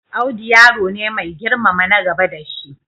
Audu yaro ne mai girmama na gaba da shi.